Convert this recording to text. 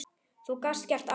Þú gast gert allt.